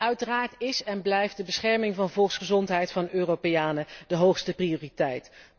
Uiteraard is en blijft de bescherming van de volksgezondheid van Europeanen de hoogste prioriteit.